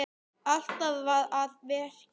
Alltaf að verki saman.